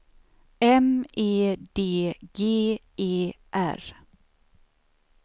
M E D G E R